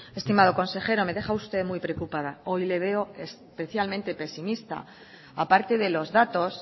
estimado consejero me deja usted muy preocupada hoy le veo especialmente pesimista aparte de los datos